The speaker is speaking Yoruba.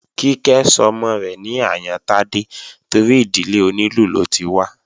Kíkẹ́ sọmọ rẹ̀ ní Àyántádé torí ìdílé onílù ló ti wá